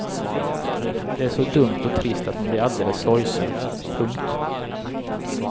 Det är så dumt och trist att man blir alldeles sorgsen. punkt